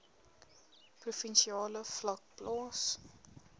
provinsiale vlak plaas